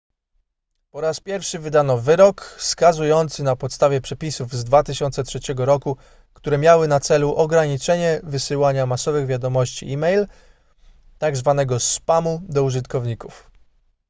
po raz pierwszy wydano wyrok skazujący na podstawie przepisów z 2003 r które miały na celu ograniczenie wysyłania masowych wiadomości e-mail tzw spamu do użytkowników